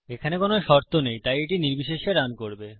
এখানে কোনো শর্ত নেই তাই এটি নির্বিশেষে রান করবে